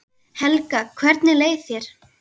Helga: Hvernig leið þér?